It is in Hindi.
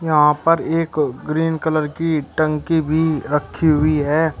यहां पर एक ग्रीन कलर की टंकी भी रखी हुई है।